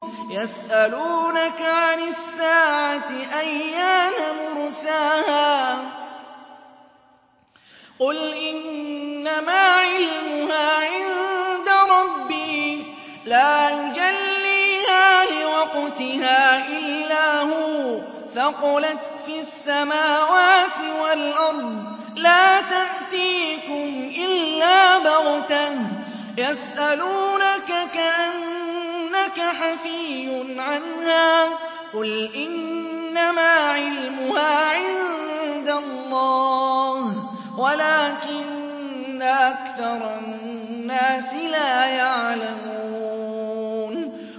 يَسْأَلُونَكَ عَنِ السَّاعَةِ أَيَّانَ مُرْسَاهَا ۖ قُلْ إِنَّمَا عِلْمُهَا عِندَ رَبِّي ۖ لَا يُجَلِّيهَا لِوَقْتِهَا إِلَّا هُوَ ۚ ثَقُلَتْ فِي السَّمَاوَاتِ وَالْأَرْضِ ۚ لَا تَأْتِيكُمْ إِلَّا بَغْتَةً ۗ يَسْأَلُونَكَ كَأَنَّكَ حَفِيٌّ عَنْهَا ۖ قُلْ إِنَّمَا عِلْمُهَا عِندَ اللَّهِ وَلَٰكِنَّ أَكْثَرَ النَّاسِ لَا يَعْلَمُونَ